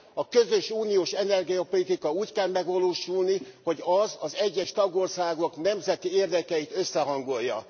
A közös uniós energiapolitika úgy kell megvalósulni, hogy az az egyes tagországok nemzeti érdekeit összehangolja.